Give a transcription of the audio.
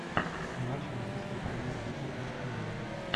матч английской премьер лиги астон вилла